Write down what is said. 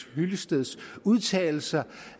hyllesteds udtalelser